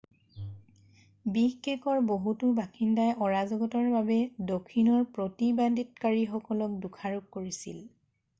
বিষকেকৰ বহুতো বাসিন্দাই অৰাজকতাৰ বাবে দক্ষিণৰ প্ৰতিবাদকাৰীসকলক দোষাৰোপ কৰিছিল